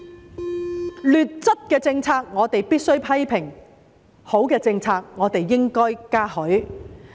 對於劣質的政策，我們必須批評；對於好的政策，我們應該嘉許。